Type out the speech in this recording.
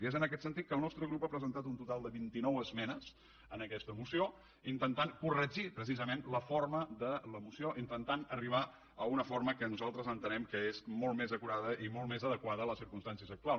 i és en aquest sentit que el nostre grup ha presentat un total de vint i nou esmenes en aquesta moció per intentar corregir precisament la forma de la moció per intentar arribar a una forma que nosaltres entenem que és molt més acurada i molt més adequada a les circumstàncies actuals